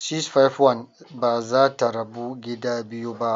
651 ba za ta rabu gida biyu ba.